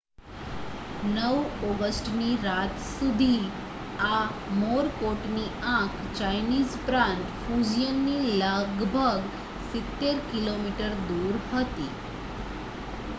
9 ઑગસ્ટની રાત સુધી, આ મોરકોટની આંખ ચાઇનીઝ પ્રાંત ફુજિયનથી લગભગ સિત્તેર કિલોમીટર દૂર હતી